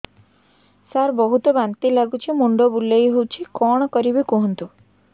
ସାର ବହୁତ ବାନ୍ତି ଲାଗୁଛି ମୁଣ୍ଡ ବୁଲୋଉଛି କଣ କରିବି କୁହନ୍ତୁ